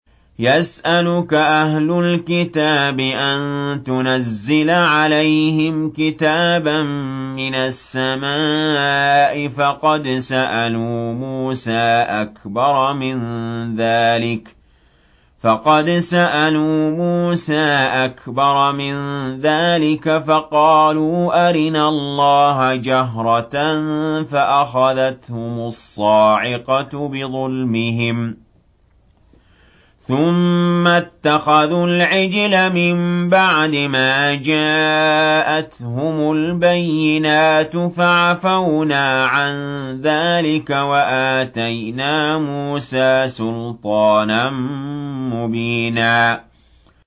يَسْأَلُكَ أَهْلُ الْكِتَابِ أَن تُنَزِّلَ عَلَيْهِمْ كِتَابًا مِّنَ السَّمَاءِ ۚ فَقَدْ سَأَلُوا مُوسَىٰ أَكْبَرَ مِن ذَٰلِكَ فَقَالُوا أَرِنَا اللَّهَ جَهْرَةً فَأَخَذَتْهُمُ الصَّاعِقَةُ بِظُلْمِهِمْ ۚ ثُمَّ اتَّخَذُوا الْعِجْلَ مِن بَعْدِ مَا جَاءَتْهُمُ الْبَيِّنَاتُ فَعَفَوْنَا عَن ذَٰلِكَ ۚ وَآتَيْنَا مُوسَىٰ سُلْطَانًا مُّبِينًا